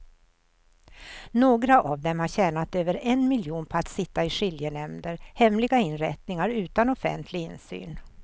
Några av dem har tjänat över en miljon på att sitta i skiljenämnder, hemliga inrättningar utan offentlig insyn.